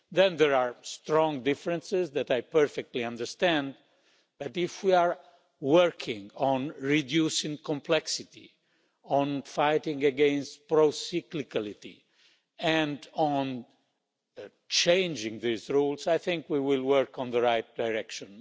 There are strong differences that I perfectly understand, but if we are working on reducing complexity, fighting against procyclicality and changing these rules, I think we will work in the right direction.